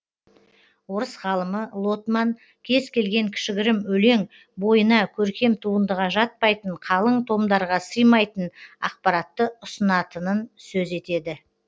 орыс ғалымы лотман кез келген кішігірім өлең бойына көркем туындыға жатпайтын қалың томдарға сыймайтын ақпаратты ұсынатынын сөз етеді